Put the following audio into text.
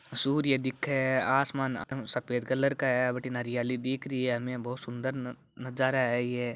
सूर्य देखे आसमान अ सफ़ेद कलर का है बठीने हरियाली दिख रही है बहुत सुन्दर नजा-नजारा है ये।